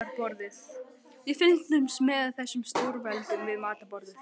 Við fylgjumst með þessum stórveldum við matarborðið.